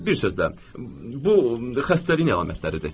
Bir sözlə, bu xəstəliyin əlamətləridir.